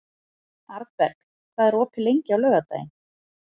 Arnberg, hvað er opið lengi á laugardaginn?